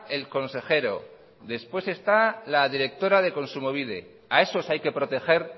el consejero después está la directora e kontsumobide a esos hay que proteger